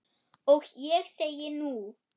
Og ég segi, nú?